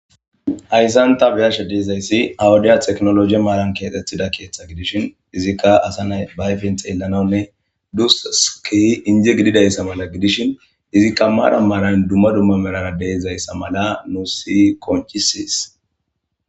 Hayssan ta beyasha deezayssi awudiya teknologi maaran keaxethida keeththa gidishin izikka asa nay bayfin xeellanawunne dusu siki inje gididayssa mala gidishin izikka maara maalayn dumma dumma merara deizayssa mala nu si qonchisis